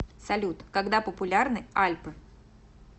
салют когда популярны альпы